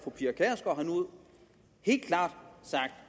helt klart sagt